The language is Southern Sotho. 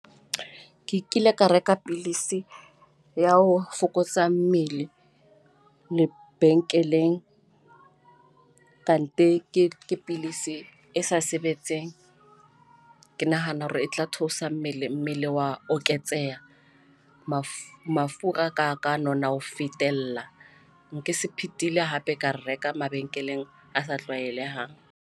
Ke kile ka reka pilisi ya ho fokotsa mmele lebenkeleng, kantike ke pidisi e sa sebetseng. Ke nahana hore e tla theosa mmele, mmele wa oketseha mafu mafura ka ka nona ho fetella. Nke se phethile hape ka reka mabenkeleng a sa tlwaelehang.